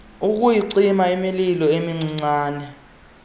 ukuyicima imililo emincinane